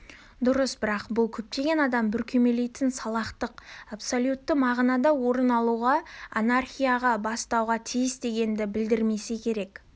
дұрыс бірақ бұл көптеген адам бүркемелейтін салақтық абсолютті мағынада орын алуға анархияға бастауға тиіс дегенді білдірмесе керек